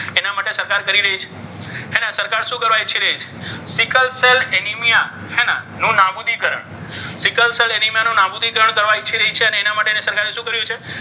સરકાર શું કરવા ઈચ્છી રહી છે? સિકલ સેલ એનિમિયા હેને નો નાબૂદીકરણ સિકલ સેલ એનિમિયા નાબુદીકરણ કરવાનો ઈચ્છી રહી છે. અને એના માટે સરકારે શું કર્યું છે?